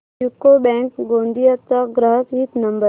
UCO bank Gondia चा ग्राहक हित नंबर